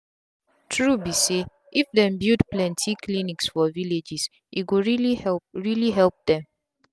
true be say if dem build plenty clinic for villages e go really help really help them